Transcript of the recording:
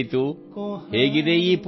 ಕುಮ್ಹಾರ ದಾದಾ ಝೋಲಾ ಲೇಕರ್ ಆಯೇ ಹೈ